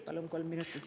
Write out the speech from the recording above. Palun kolm minutit juurde.